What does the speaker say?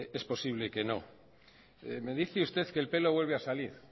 es posible que no me dice usted que el pelo vuelve a salir